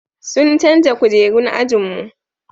sun canja kujerun ajinmu